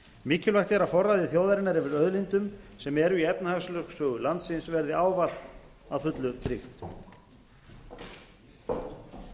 mikilvægt er að forræði þjóðarinnar yfir auðlindum sem eru í efnahagslögsögu landsins verði ávallt að fullu tryggt